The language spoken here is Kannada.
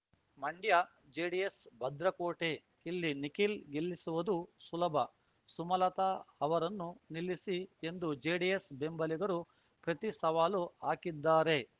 ಮಂಡ್ಯ ಜೆಡಿಎಸ್‌ ಭದ್ರಕೋಟೆ ಇಲ್ಲಿ ನಿಖಿಲ್‌ ಗೆಲ್ಲಿಸುವುದು ಸುಲಭ ಸುಮಲತಾ ಅವರನ್ನು ನಿಲ್ಲಿಸಿ ಎಂದು ಜೆಡಿಎಸ್‌ ಬೆಂಬಲಿಗರು ಪ್ರತಿ ಸವಾಲು ಹಾಕಿದ್ದಾರೆ